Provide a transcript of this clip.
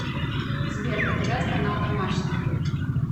сбер показать канал домашний